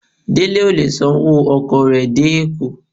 Dele o le sán ọwọ ọkọ re dé Eko.